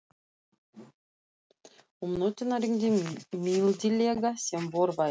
Um nóttina rigndi mildilega sem vor væri.